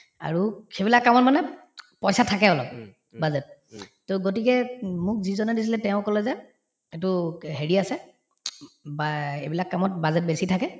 আৰু সেইবিলাক কামত মানে পইচা থাকে অলপ budget to গতিকে উম মোক যিজনে দিছিলে তেওঁ কলে যে এইটো হেৰি আছে বা এইবিলাক কামত budget বেছি থাকে